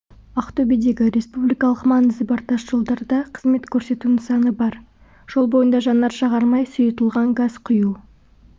ақтөбедегі республикалық маңызы бар тас жолдарда қызмет көрсету нысаны бар жол бойында жанар-жағармай сұйытылған газ құю